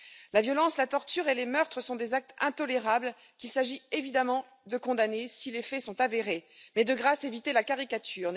La violence, la torture et les meurtres sont des actes intolérables qu'il s'agit évidemment de condamner si les faits sont avérés. Mais, de grâce, évitez la caricature.